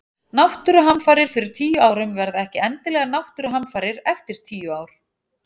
Náttúruhamfarir fyrir tíu árum verða ekki endilega náttúruhamfarir eftir tíu ár.